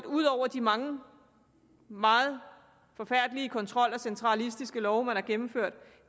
ud over de mange meget forfærdelige kontroller og centralistiske love man har gennemført